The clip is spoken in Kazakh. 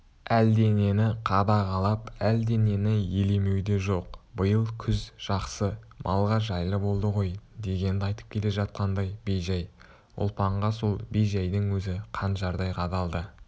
әлденені қадағалап әлденені елемеу де жоқ биыл күз жақсы малға жайлы болды ғой дегенді айтып келе жатқандай бейжай ұлпанға сол бей жайдың өзі қанжардай қадалды